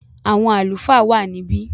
àwọn “Àlùfáà” wà níbí.